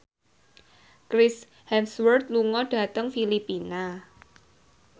Chris Hemsworth lunga dhateng Filipina